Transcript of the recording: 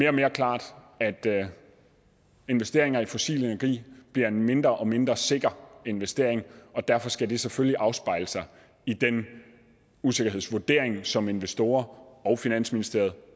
og mere klart at investeringer i fossil energi bliver en mindre og mindre sikker investering derfor skal det selvfølgelig afspejle sig i den usikkerhedsvurdering som investorer og finansministeriet